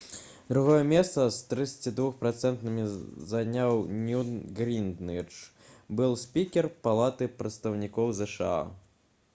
другое месца з 32 працэнтамі заняў ньют гінгрыч былы спікер палаты прадстаўнікоў зша